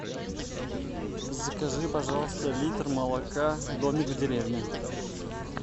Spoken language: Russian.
закажи пожалуйста литр молока домик в деревне